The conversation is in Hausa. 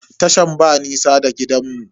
Tashan ba nisa da gidanmu.